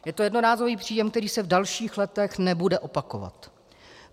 Je to jednorázový příjem, který se v dalších letech nebude opakovat.